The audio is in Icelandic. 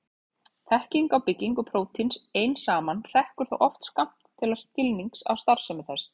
Þekking á byggingu prótíns ein saman hrekkur þó oft skammt til skilnings á starfsemi þess.